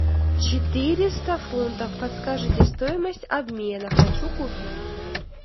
четыреста фунтов подскажите стоимость обмена хочу купить